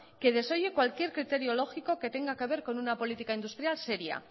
que desoye cualquier criterio lógico que tenga que ver con una política industrial seria